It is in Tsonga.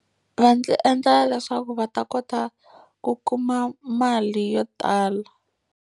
Va endlela leswaku va ta kota ku kuma mali yo tala.